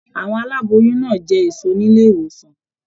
Àwọn aláboyún náà jẹ èso nílé ìwòsàn.